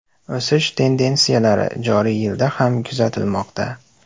O‘sish tendensiyalari joriy yilda ham kuzatilmoqda.